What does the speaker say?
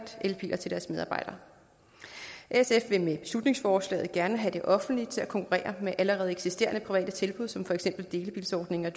elbiler til deres medarbejdere sf vil med beslutningsforslaget gerne have det offentlige til at konkurrere med allerede eksisterende private tilbud som for eksempel delebilsordninger